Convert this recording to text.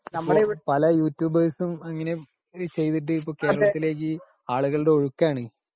പല യൂട്യൂബർസ്‌ ഉം ഇങ്ങനെ ചെയ്തിട്ട് ഇപ്പോ കേരളത്തിലേക്ക് ആളുകളുടെ ഒഴുക്ക് ആണ് .